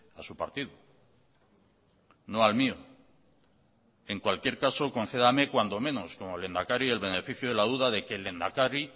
a su partido no al mío en cualquier caso concédame cuando menos como lehendakari el beneficio de la duda de que el lehendakari